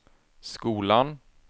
skolan